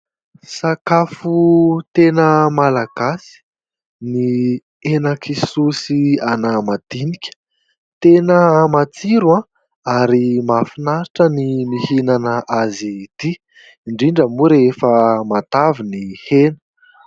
Sakafo tena malagasy ny henan-kisoa sy anamadinika tena matsiro ary mahafinaritra ny mihinana azy ity indrindra moa rehefa matavy ny hena.